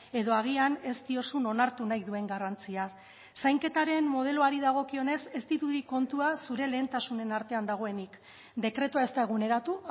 edo agian ez diozun onartu nahi duen garrantziaz zainketaren modeloari dagokionez ez dirudi kontua zure lehentasunen artean dagoenik dekretua ez da eguneratu